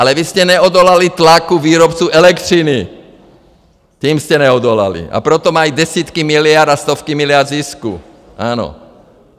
Ale vy jste neodolali tlaku výrobců elektřiny, těm jste neodolali, a proto mají desítky miliard a stovky miliard zisku, ano.